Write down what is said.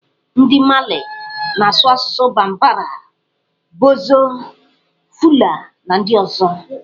Ndị Mali na-asụ asụsụ Bambara, Bozo, Fula, na ndị ọzọ.